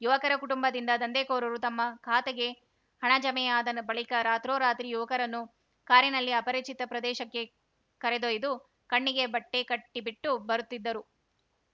ಯುವಕರ ಕುಟುಂಬದಿಂದ ದಂಧೆಕೋರರು ತಮ್ಮ ಖಾತೆಗೆ ಹಣ ಜಮೆಯಾದ ನ ಬಳಿಕ ರಾತ್ರೋರಾತ್ರಿ ಯುವಕರನ್ನು ಕಾರಿನಲ್ಲಿ ಅಪರಿಚಿತ ಪ್ರದೇಶಕ್ಕೆ ಕರೆದೊಯ್ದು ಕಣ್ಣಿಗೆ ಬಟ್ಟೆಕಟ್ಟಿಬಿಟ್ಟು ಬರುತ್ತಿದ್ದರು